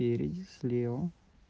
спереди слева